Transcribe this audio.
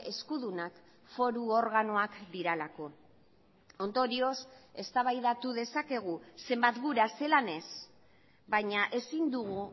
eskudunak foru organoak direlako ondorioz eztabaidatu dezakegu zenbat gura zelan ez baina ezin dugu